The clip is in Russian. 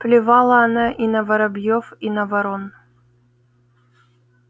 плевала она и на воробьёв и на ворон